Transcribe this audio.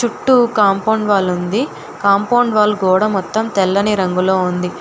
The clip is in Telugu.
చుట్టూ కాంపౌండ్ వాల్ ఉంది కాంపౌండ్ వాల్ గోడ మొత్తం తెల్లని రంగులో ఉంది.